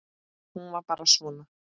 Hún var bara svona